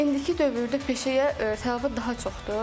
Çünki indiki dövrdə peşəyə tələbat daha çoxdur.